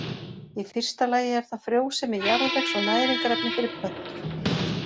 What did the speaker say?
Í fyrsta lagi er það frjósemi jarðvegs og næringarefni fyrir plöntur.